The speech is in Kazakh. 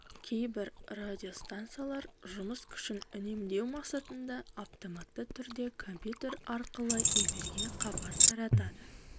кейбір радиостанциялар жұмыс күшін үнемдеу мақсатында автоматты түрде компьютер арқылы эфирге хабар таратады